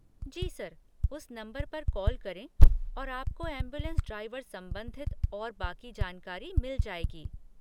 जी sir, उस number पर call करें और आपको ऐम्बुलेन्स ड्राइवर संबंधित और बाकी जानकारी मिल जाएगी।